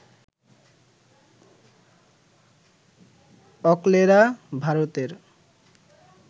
অকলেরা, ভারতের